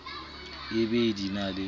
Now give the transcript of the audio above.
e be di na le